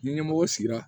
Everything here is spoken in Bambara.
Ni ɲɛmɔgɔ sigira